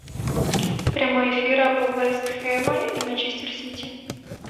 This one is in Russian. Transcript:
прямой эфир апл вест хэм и манчестер сити